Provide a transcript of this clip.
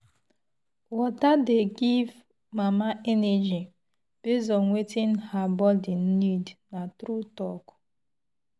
water dey give mama energy based on wetin her body need na true talk.